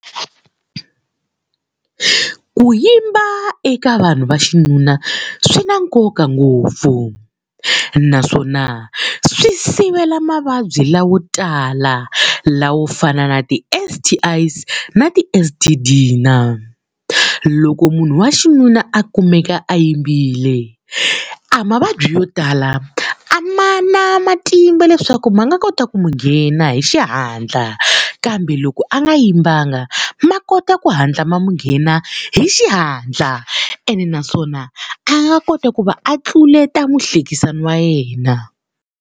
Ku yimba eka vanhu va xinuna swi na nkoka ngopfu, naswona swi sivela mavabyi lawo tala la wo fana na ti-S_T_I na ti-S_T_D-na. Loko munhu wa xinuna a kumeka a yimbile, a mavabyi yo tala a ma na matimba leswaku ma nga kota ku n'wi nghena hi xihatla. Kambe loko a nga yimbanga ma kota ku hatla ma n'wi nghena hi xihatla ene naswona a nga kota ku va a tluleta muhlekisani wa yena.